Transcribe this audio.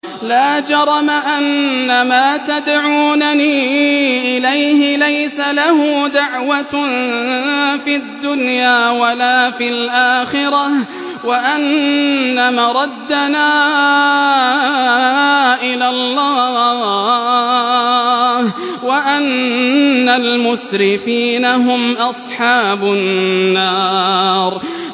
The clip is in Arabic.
لَا جَرَمَ أَنَّمَا تَدْعُونَنِي إِلَيْهِ لَيْسَ لَهُ دَعْوَةٌ فِي الدُّنْيَا وَلَا فِي الْآخِرَةِ وَأَنَّ مَرَدَّنَا إِلَى اللَّهِ وَأَنَّ الْمُسْرِفِينَ هُمْ أَصْحَابُ النَّارِ